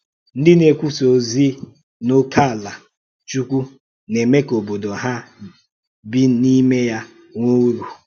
Ndị na-èkwùsà òzì n’ókèàlá Chúkwù na-eme ka òbòdò hà bì n’ímé ya nwèè ùrù.